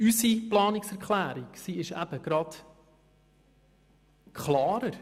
Unsere Planungserklärung ist eben gerade klarer;